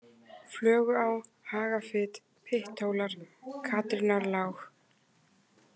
Flöguá, Hagafit, Pytthólar, Katrínarlág